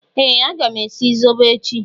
Ee! Aga m esi zobo echi.